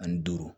Ani duuru